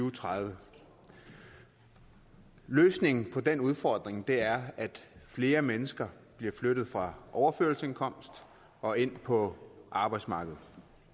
og tredive løsningen på den udfordring er at flere mennesker bliver flyttet fra overførselsindkomst og ind på arbejdsmarkedet